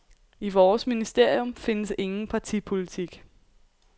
I vores ministerium findes ingen partipolitik.